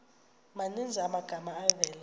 maninzi amagama avela